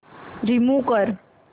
remove कर